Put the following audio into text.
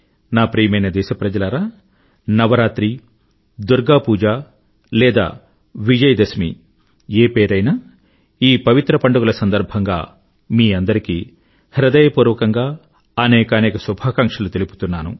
నా ప్రియమైన దేశప్రజలారా నవరాత్రి దుర్గా పూజ లేదా విజయదశమి ఏ పేరైనా ఈ పవిత్ర పండుగల సందర్భంగా మీ అందరికీ హృదయపూర్వకంగా అనేకానేక శుభాకాంక్షలు తెలుపుతున్నాను